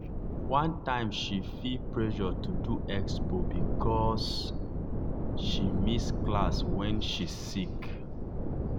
one time she feel pressure to do expo because she miss class when she sick.